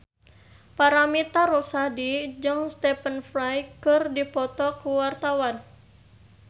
Paramitha Rusady jeung Stephen Fry keur dipoto ku wartawan